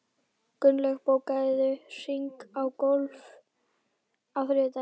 Gunnlaug, bókaðu hring í golf á þriðjudaginn.